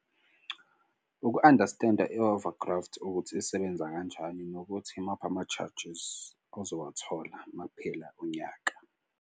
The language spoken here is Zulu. Uku-understand-a i-over graft ukuthi isebenza kanjani nokuthi imaphi ama-charges ozowathola uma kuphela unyaka.